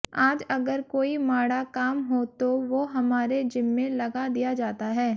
आज अगर कोई माड़ा काम हो तो वो हमारे जिम्मे लगा दिया जाता है